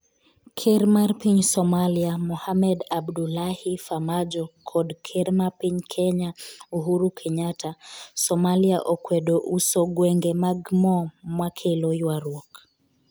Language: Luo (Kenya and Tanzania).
Ker mar piny Somalia, Mohamed Abdullahi Farmajo kod Ker mar piny Kenya, Uhuru Kenyatta Somalia okwedo uso gwenge mag mo makelo ywaruok